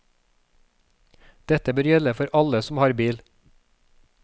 Dette bør gjelde for alle som har bil.